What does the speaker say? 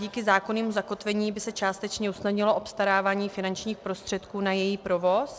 Díky zákonnému zakotvení by se částečně usnadnilo obstarávání finančních prostředků na její provoz.